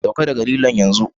Sauka daga lilon yanzu!